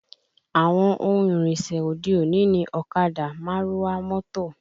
Àwọn ohun ìrìnsẹ̀ òde òní ni ọ̀kadà, márúwá, mọ́tò